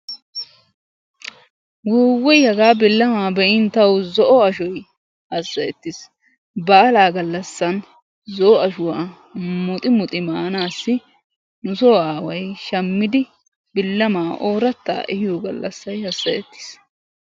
Wuuwuy! hagaa billama be'in tawu zo'o ashoy hassayetiis. Baalaa gallasan zo'o ashuwa muxi muxi maanassi nusoo aaway shaammidi billamaa oorata ehiyo gallasay haasayatees.